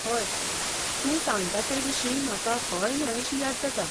हय, तूं सांगता तेविशीं म्हाका हय न्हय शी याद जाता